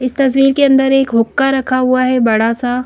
इस तहसील के अंदर एक हुक्का रखा हुआ है बड़ा सा --